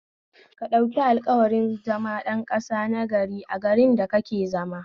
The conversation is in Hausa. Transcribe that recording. Ka ɗauki alƙawarin zama ɗan ƙasa nagari a garin da kake zama